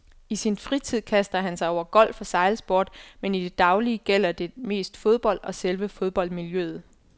I sin fritid kaster han sig over golf og sejlsport, men i det daglige gælder det mest fodbold og selve fodboldmiljøet.